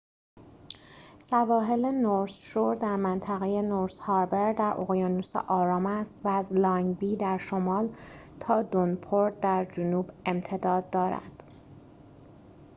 سواحل نورث شور در منطقه نورث هاربر در اقیانوس آرام است و از لانگ بی در شمال تا دونپورت در جنوب امتداد دارد